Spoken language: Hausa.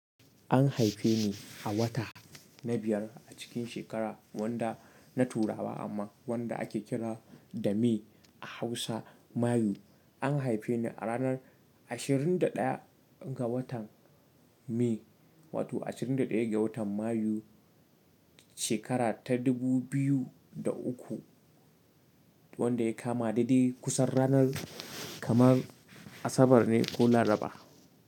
An haife ni a wata na biyar a cikin shekara wanda na turawa amma wanda ake kira da May a Hausa Mayu. An haife ni a ranar ashirin da ɗaya ga watan May wato ashirin da ɗaya ga watan Mayu shekara ta dubu biyu da uku wanda ya kama dede kusan ranar kamar Asabar ne ko Laraba.